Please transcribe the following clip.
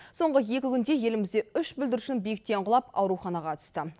соңғы екі күнде елімізде үш бүлдіршін биіктен құлап ауруханаға түсті